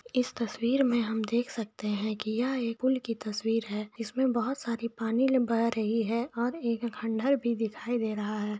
इश तस्वीर में हम देख सकते है की ये एक पुल की तस्वीर है इस में बहुत सारे पानी लम्भा रही है और एक खण्डर भी दिखाई दे रहा है।